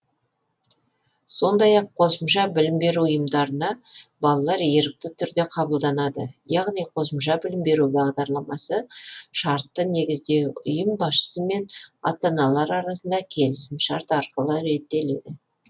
сондай ақ қосымша білім беру ұйымдарына балалар ерікті түрде қабылданады яғни қосымша білім беру бағдарламасы шартты негізде ұйым басшысы мен ата аналар арасында келісім шарт арқылы реттеледі